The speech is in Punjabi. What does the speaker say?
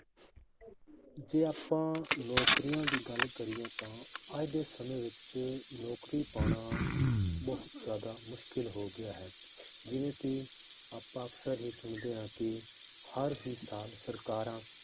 ਜੇ ਆਪਾਂ ਨੌਕਰੀਆਂ ਦੀ ਗੱਲ ਕਰੀਏ ਤਾਂ ਅੱਜ ਦੇ ਸਮੇਂ ਵਿੱਚ ਨੌਕਰੀ ਪਾਉਣਾ ਬਹੁਤ ਜ਼ਿਆਦਾ ਮੁਸ਼ਕਲ ਹੋ ਗਿਆ ਹੈ ਜਿਵੇਂ ਆਪਾਂ ਅਕਸਰ ਹੀ ਸੁਣਦੇ ਹਾਂ ਕਿ ਹਰ ਹੀ ਸਾਲ ਸਰਕਾਰਾਂ